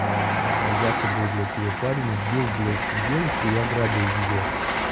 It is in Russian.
а якобы блять её парень сбил блядь девушку я грабил её